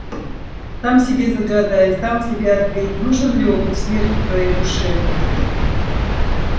сам себе загадай сам себе ответь нужен ли опыт смерти твоей душе